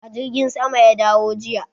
A jirgin sama ya dawo jiya.